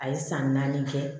A ye san naani kɛ